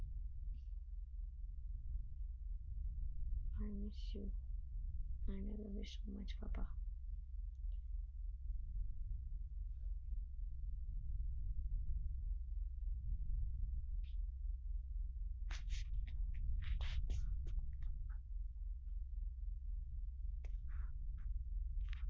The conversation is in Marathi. i miss youi miss you so much pappa